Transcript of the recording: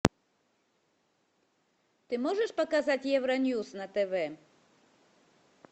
ты можешь показать евроньюс на тв